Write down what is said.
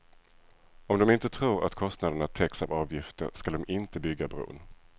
Om de inte tror att kostnaderna täcks av avgifter skall de inte bygga bron.